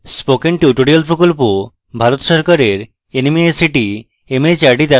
spoken tutorial প্রকল্প ভারত সরকারের nmeict mhrd দ্বারা সমর্থিত